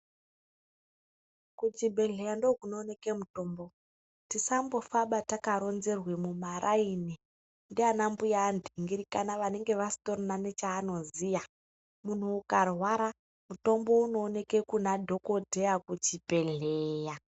Kuchibhedhleya ndokunooneke mutombo. Tisambofaba takaronzerwe mumaraini ndiana mbuya andingirikana vanenge vasitorina nechaanoziya. Munhu ukarwara, mutombo unooneke kuna dhokodheya kuchibhedhleya.